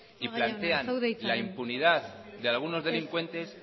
y plantean la impunidad de algunos delincuentes